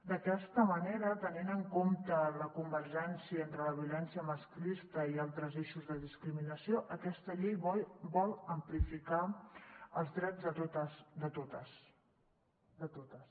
d’aquesta manera tenint en compte la convergència entre la violència masclista i altres eixos de discriminació aquesta llei vol amplificar els drets de totes de totes